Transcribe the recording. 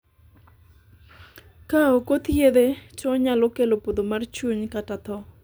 ka ok othiedhe to onyalo kelo podho mar chuny kata tho